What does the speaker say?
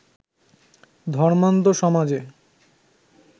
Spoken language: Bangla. ধর্মান্ধ সমাজে